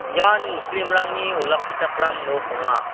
ian muslim-rangni olakkichakram nok ong·a.